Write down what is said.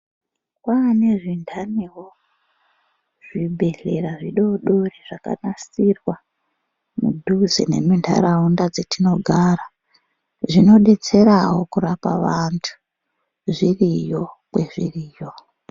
Kwane zvindaniwo, zvibhedhlera zvidodori zvakanasirwa mudhuze nemundaraunda dzatinogara, zvinodetserawo kurapa vantu, zviriyo kwezviriyo.